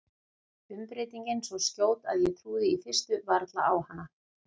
Umbreytingin svo skjót að ég trúði í fyrstu varla á hana.